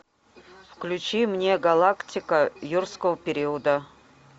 включи мне галактика юрского периода